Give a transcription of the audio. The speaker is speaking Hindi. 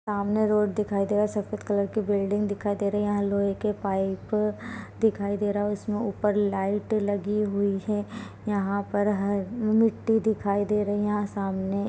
सामने रोड दिखायी दे रहा है यहाँ सफ़ेद कलर की बिल्डिंग दिखायी दे रही है यहाँ लोहे के पाइप दिखाई दे रहा है उसमें ऊपर लाइट लगी हुई है यहाँ पर मिट्टी दिखायी दे रही है यहाँ सामने--